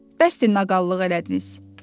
Bəsdir naqallıq elədiniz,